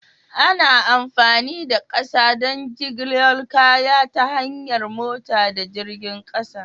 Ana amfani da ƙasa don jigilar kaya ta hanyar mota da jirgin ƙasa.